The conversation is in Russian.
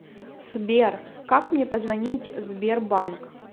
сбер как мне позвонить сбер банк